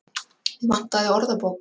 Mig vantaði orðabók.